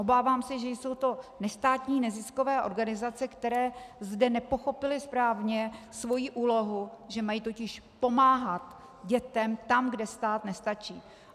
Obávám se, že jsou to nestátní neziskové organizace, které zde nepochopily správně svoji úlohu, že mají totiž pomáhat dětem tam, kde stát nestačí.